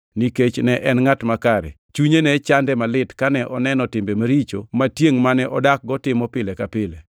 (nikech ne en ngʼat makare, chunye ne chande malit kane oneno timbe maricho ma tiengʼ mane odakgo timo pile ka pile);